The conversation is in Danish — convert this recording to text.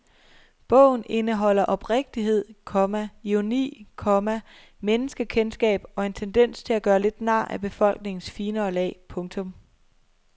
Bogen indeholder oprigtighed, komma ironi, komma menneskekendskab og en tendens til at gøre lidt nar af befolkningens finere lag. punktum